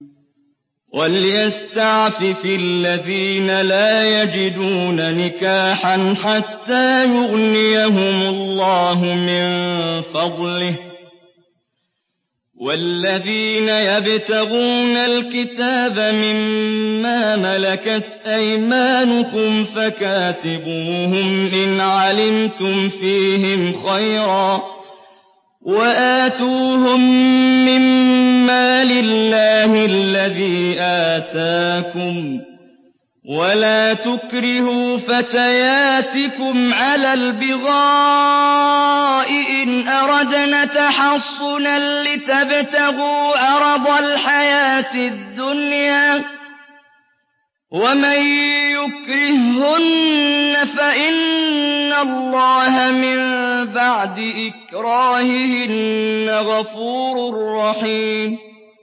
وَلْيَسْتَعْفِفِ الَّذِينَ لَا يَجِدُونَ نِكَاحًا حَتَّىٰ يُغْنِيَهُمُ اللَّهُ مِن فَضْلِهِ ۗ وَالَّذِينَ يَبْتَغُونَ الْكِتَابَ مِمَّا مَلَكَتْ أَيْمَانُكُمْ فَكَاتِبُوهُمْ إِنْ عَلِمْتُمْ فِيهِمْ خَيْرًا ۖ وَآتُوهُم مِّن مَّالِ اللَّهِ الَّذِي آتَاكُمْ ۚ وَلَا تُكْرِهُوا فَتَيَاتِكُمْ عَلَى الْبِغَاءِ إِنْ أَرَدْنَ تَحَصُّنًا لِّتَبْتَغُوا عَرَضَ الْحَيَاةِ الدُّنْيَا ۚ وَمَن يُكْرِههُّنَّ فَإِنَّ اللَّهَ مِن بَعْدِ إِكْرَاهِهِنَّ غَفُورٌ رَّحِيمٌ